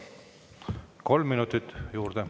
Kolm minutit juurde.